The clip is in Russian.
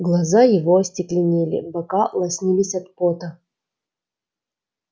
глаза его остекленели бока лоснились от пота